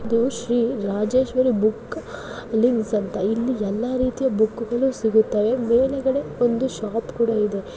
ಇದು Shri Rajeshwari book leaves ಅಂತ. ಇಲ್ಲಿ ಎಲ್ಲ ರೀತಿಯ ಬುಕ್ಗಳು ಸಿಗುತ್ತೆ ಮೇಲ್ಗಡೆ ಒಂದು ಶಾಪ್ ಕೂಡ ಇದೆ.